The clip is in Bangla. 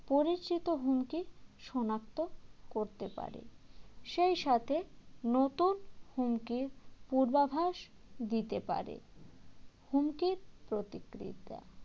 পরিচিত হুমকি শনাক্ত করতে পারে সেইসাথে নতুন হুমকির পূর্বাভাস দিতে পারে হুমকির প্রতিক্রিয়া